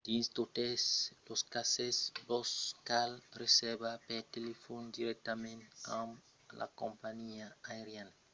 dins totes los cases vos cal reservar per telefòn dirèctament amb la companhiá aeriana